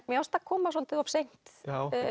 mér fannst það koma svolítið of seint